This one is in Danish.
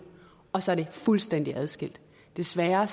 og så er det fuldstændig adskilt desværre er